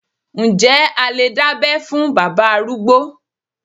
Ǹjẹ́ a lè dábẹ́ fún bàbá arúgbó.